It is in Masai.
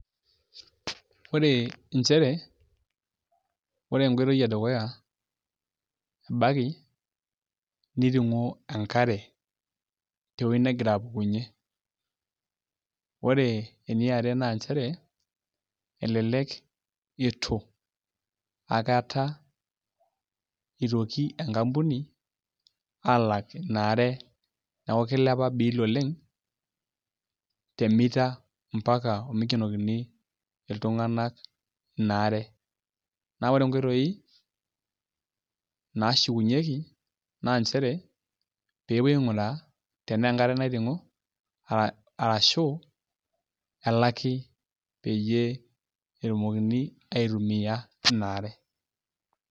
Ore nchere ore enkoitoi edukuya ebaiki niting'o enkare tewuei negira apukunyie ore eniare naa nchere elelek itu akata itoki enkampuni aalak ina are neeku kilepa biil oleng' te meter ompaka omikenokini iltung'anak ina are naa ore nkoitoi naashukunyieki naa nchere pee epuoi aing'uraa enaa enkare naiting'o arashu elaki peyie etumokini aitumia ina are.